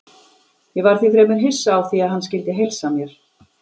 Ég var því fremur hissa á því að hann skyldi heilsa mér.